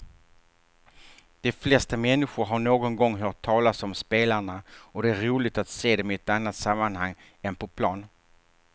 De flesta människor har någon gång hört talas om spelarna och det är roligt att se dem i ett annat sammanhang än på plan.